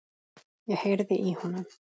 Ég heyrði í honum!